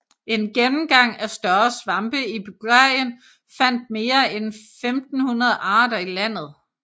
En gennemgang af større svampe i Bulgarien fandt mere end 1500 arter i landet